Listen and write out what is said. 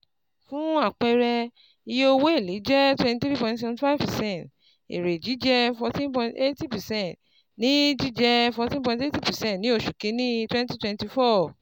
Fún àpẹẹrẹ, iye owó èlé jẹ́ 23.75 percent, èrè jíjẹ 14.80 percent ní jíjẹ 14.80 percent ní oṣù kíní 2024.